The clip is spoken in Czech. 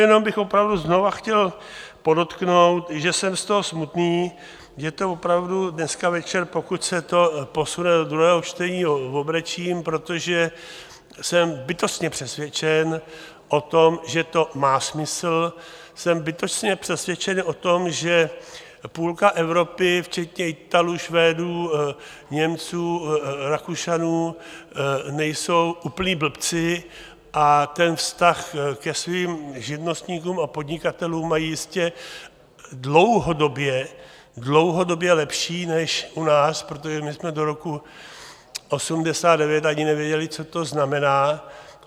Jenom bych opravdu znova chtěl podotknout, že jsem z toho smutný, že to opravdu dneska večer, pokud se to posune do druhého čtení, obrečím, protože jsem bytostně přesvědčen o tom, že to má smysl, jsem bytostně přesvědčen o tom, že půlka Evropy včetně Italů, Švédů, Němců, Rakušanů nejsou úplní blbci a ten vztah ke svým živnostníkům a podnikatelům mají jistě dlouhodobě lepší než u nás, protože my jsme do roku 1989 ani nevěděli, co to znamená.